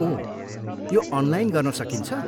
ओह, यो अनलाइन गर्न सकिन्छ?